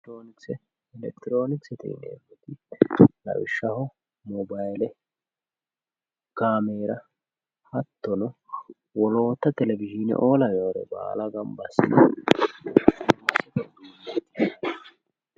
elekitiroonikise. elekitiroonikisete yineemmoti lawishshaho moobayiile kaameera hattono woloota telewizhiine"oo lawewoore baala ganba assine elekitiroonikisete yinanni.